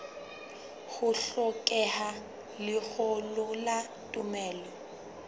ho hlokeha lengolo la tumello